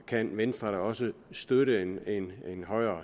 kan venstre da også støtte højere